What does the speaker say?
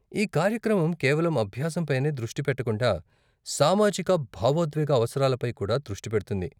ఈ కార్యక్రమం కేవలం అభ్యాసం పైనే దృష్టి పెట్టకుండా, సామాజిక, భావోద్వేగ అవసరాలపై కూడా దృష్టి పెడుతుంది.